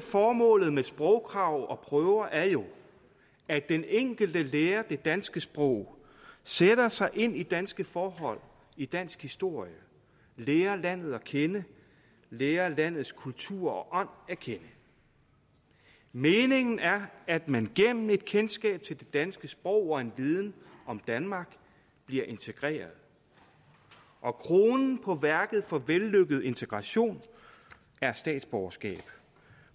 formålet med sprogkrav og prøver er jo at den enkelte lærer det danske sprog sætter sig ind i danske forhold i dansk historie lærer landet at kende lærer landets kultur og ånd at kende meningen er at man gennem et kendskab til det danske sprog og en viden om danmark bliver integreret og kronen på værket for vellykket integration er statsborgerskab